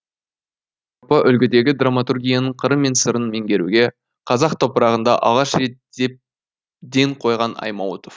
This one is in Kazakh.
үлгідегі драматургияның қыры мен сырын меңгеруге қазақ топырағында алғаш рет ден қойған аймауытов